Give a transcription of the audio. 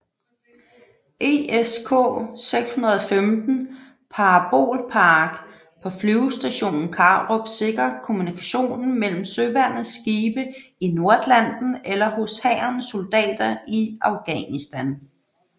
ESK 615 parabolpark på Flyvestation Karup sikrer kommunikationen mellem Søværnets skibe i Nordatlanten eller hos Hærens soldater i Afghanistan